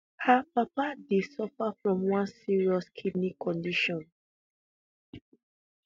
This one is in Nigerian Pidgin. her papa dey suffer from one serious kidney condition